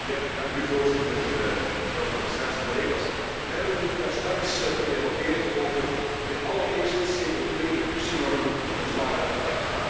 Voorzitter, mevrouw de commissaris, collega's, we hebben daarnet gedebatteerd over de allereerste CO2-reductienormen voor zware vrachtwagens.